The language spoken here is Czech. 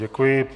Děkuji.